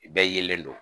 Bɛɛ yelen don